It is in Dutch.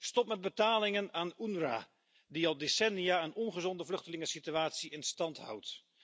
Stop met betalingen aan de UNRWA, die al decennia een ongezonde vluchtelingensituatie in stand houdt.